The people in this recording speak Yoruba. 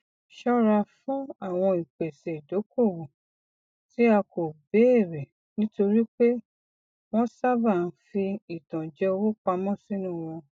ṣọra fún àwọn ìpese ìdokoowó tí a kò béèrè nítorí pé wọn sábàa ń fi ìtànjẹ owó pamọ sínú wọn